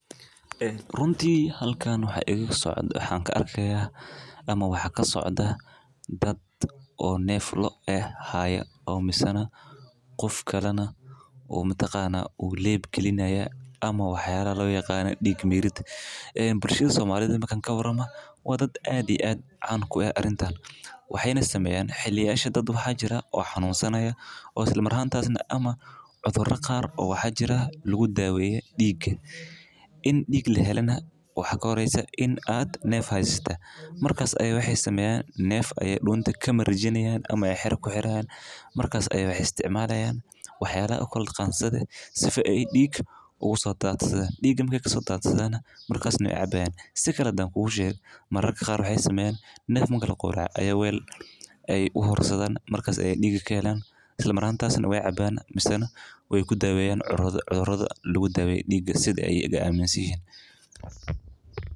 Waxa ka socdaa daad neef loo hayo, qof kalena uu dhiig gelinayo ama dhiig mirid. Bulshada Soomaaliyeed way caan ku tahay arrintan. Waxa jira daad xanuunsanaya oo cudur qabo, waxaana lagu daaweeyaa dhiig—si dhiig loo helo. Waxa ka horreysa in neef la helo, neefka dunta laga xiraa, kadibna la isticmaalo qaanso si dhiig loo soo daadiyo. Waxa ay cabayaan ama neefka marka la qolo, weel ayaa loogu dhigtay si dhiig looga helo. Dhiiggaas ayaa lagu daaweeyaa cudurrada, waana sida ay aaminsan yihiin.